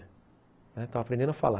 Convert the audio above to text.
Eu estava aprendendo a falar.